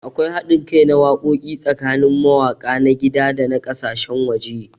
Akwai haɗin kai na wakoki tsakanin mawaka na gida da na kasashen waje.